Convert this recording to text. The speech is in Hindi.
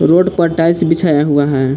रोड पर टाइल्स बिछाया हुआ है।